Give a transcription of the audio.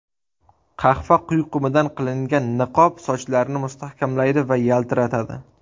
Qahva quyqumidan qilingan niqob sochlarni mustahkamlaydi va yaltiratadi.